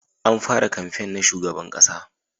An fara kamfen na shugaban ƙasa